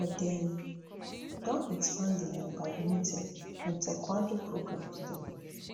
but dem don expand di um badminton and taekwondo programmes dem